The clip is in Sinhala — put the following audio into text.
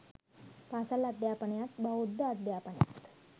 පාසල් අධ්‍යාපනයත් බෞද්ධ අධ්‍යාපනයත්